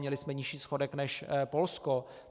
Měli jsme nižší schodek než Polsko.